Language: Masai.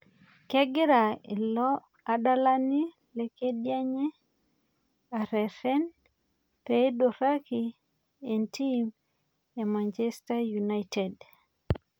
Kegira ilo adalani le kedienye areren peiduraki entim e Manchester United